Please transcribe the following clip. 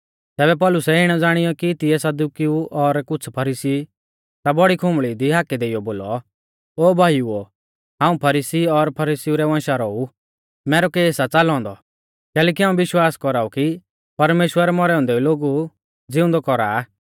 तैबै पौलुसै इणै ज़ाणीयौ कि तिऐ सदुकिऊ और कुछ़ फरीसी ई ता बौड़ी खुंबल़ी दी हाकै देइयौ बोलौ ओ भाईउओ हाऊं फरीसी और फरीसीउ रै वंशा रौ ऊ मैरौ केस आ च़ालौ औन्दौ कैलैकि हाऊं विश्वास कौराऊ कि परमेश्‍वर मौरै औन्दै लोगु ज़िउंदौ कौरा आ